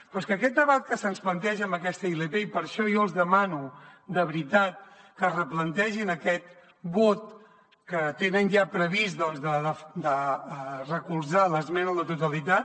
però és que aquest debat que se’ns planteja amb aquesta ilp i per això jo els demano de veritat que es replantegin aquest vot que tenen ja previst doncs de recolzar l’esmena a la totalitat